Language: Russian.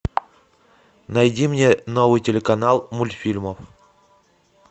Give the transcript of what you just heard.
найди мне новый телеканал мультфильмов